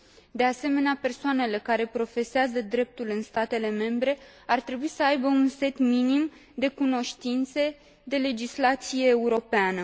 De asemenea, persoanele care profesează dreptul în statele membre ar trebui să aibă un set minim de cunoștințe de legislație europeană.